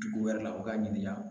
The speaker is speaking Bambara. Dugu wɛrɛ la u k'a ɲininka